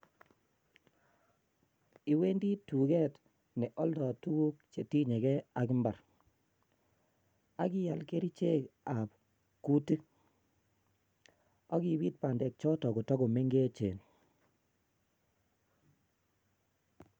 Iwendi turkey neoldo tuguuk che tinye gee ak imbaar. Ak ial kerichek ab kuutik, ak ibit bandekchoton kotokomengechen